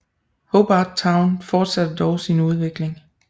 Hobart Town fortsatte dog sin udvikling